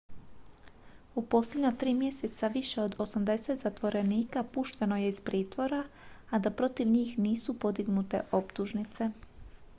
u posljednja 3 mjeseca više od 80 zatvorenika pušteno je iz pritvora a da protiv njih nisu podignute optužnice